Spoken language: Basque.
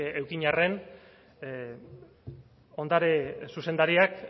eduki arren ondare zuzendariak